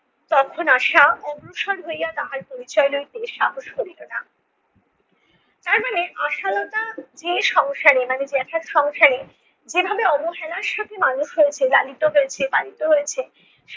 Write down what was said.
তখন আশা অগ্রসর হইয়া তাহার পরিচয় লইতে সাহস করিল না তারমানে আশালতা যে সংসারে মানে জ্যাঠার সংসারে যেভাবে অবহেলার সাথে মানুষ হয়েছে লালিত হয়েছে পালিত হয়েছে